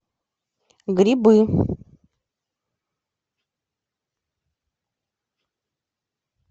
грибы